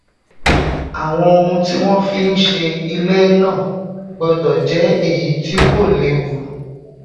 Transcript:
àwọn ohun tí wón fi se ilé náà gbódò jé èyí tí kò léwu